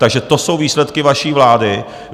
Takže to jsou výsledky vaší vlády.